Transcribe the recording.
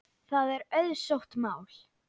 Það er auðsótt mál.